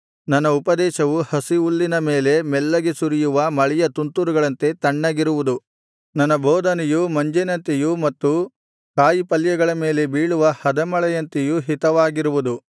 ನನ್ನ ಉಪದೇಶವು ಹಸಿಹುಲ್ಲಿನ ಮೇಲೆ ಮೆಲ್ಲಗೆ ಸುರಿಯುವ ಮಳೆಯ ತುಂತುರುಗಳಂತೆ ತಣ್ಣಗಿರುವುದು ನನ್ನ ಬೋಧನೆಯು ಮಂಜಿನಂತೆಯೂ ಮತ್ತು ಕಾಯಿಪಲ್ಯಗಳ ಮೇಲೆ ಬೀಳುವ ಹದಮಳೆಯಂತೆಯೂ ಹಿತವಾಗಿರುವುದು